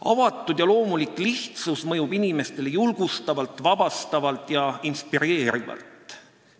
Avatud ja loomulik lihtsus mõjub inimestele julgustavalt, vabastavalt ja inspireerivalt.